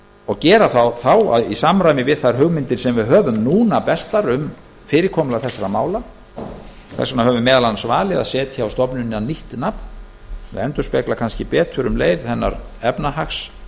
og gera það í samræmi við þær hugmyndir sem við höfum núna bestar um fyrirkomulag þessara mála þess vegna höfum við meðal annars valið að setja á stofnunina nýtt nafn sem endurspeglar kannski betur um leið efnahagshlutverk